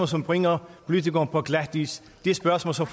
som bringer politikeren på glatis spørgsmål som